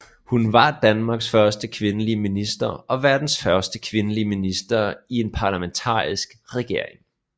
Hun var Danmarks første kvindelige minister og verdens første kvindelige minister i en parlamentarisk regering